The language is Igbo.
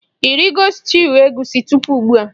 Ị rigo stuuyu egusi tupu ugbua?